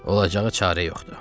Olacağı çarə yoxdur.